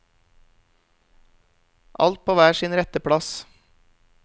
Alt på hver sin rette plass.